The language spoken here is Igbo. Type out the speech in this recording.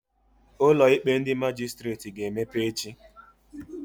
Ụlọ ikpe ndị Majistreti ga-emepe echi